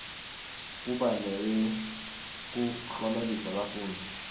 kuba neyekuklomelisa bafundzi